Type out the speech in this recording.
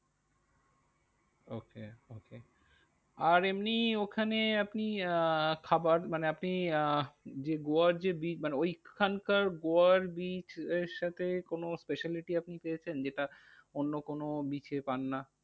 আর এমনি ওখানে আপনি আহ খাবার মানে আপনি আহ যে গোয়ার যে beach মানে ওইখানকার গোয়ার beach এর সাথে কোনো speciality আপনি পেয়েছেন, যেটা অন্য কোনো beach এ পান না?